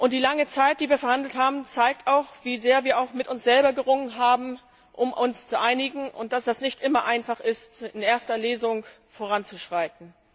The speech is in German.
Die lange Zeit, die wir verhandelt haben, zeigt auch, wie sehr wir auch mit uns selber gerungen haben, um uns zu einigen, und dass es nicht immer einfach ist, in erster Lesung voranzuschreiten.